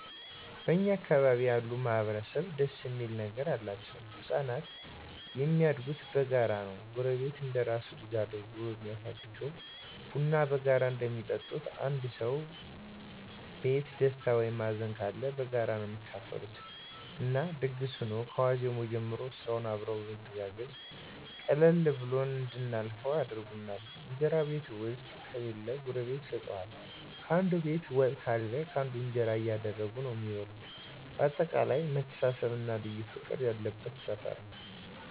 እኛ አካባቢ ያሉ ማህበረሰብ ደስ እሚል ነገር አላቸዉ። ህፃናቶች እሚያድጉት በጋራ ነዉ ጎረቤት እንደራሱ ልጅ አድርጎ ነዉ እሚያሳድገዉ፣ ቡና በጋራ ነዉ እሚጠጡት፣ አንዱ ሰዉ ቤት ደስታ ወይም ሀዘንም ካለ በጋራ ነዉ እሚካፈሉት እና ድግስ ሁኖ ከዋዜማዉ ጀምሮ ስራዉንም አብረዉ በመተጋገዝ ቀለል ብሎን እንድናልፈዉ ያደርጉናል። እንጀራ ቤት ዉስጥ ከሌለ ጎረቤት ይሰጡሀል፣ ካንዱ ቤት ወጥ ካለ ካንዱ እንጀራ እያደረጉ ነዉ እሚበሉ በአጠቃላይ መተሳሰብ እና ልዩ ፍቅር ያለበት ሰፈር ነዉ።